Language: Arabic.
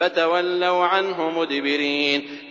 فَتَوَلَّوْا عَنْهُ مُدْبِرِينَ